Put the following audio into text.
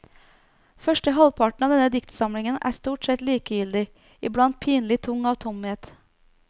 Første halvparten av denne diktsamlingen er stort sett likegyldig, iblant pinlig tung av tomhet.